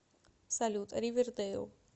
салют ривер дейл